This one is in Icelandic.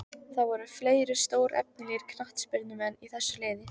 Það voru fleiri stórefnilegir knattspyrnumenn í þessu liði.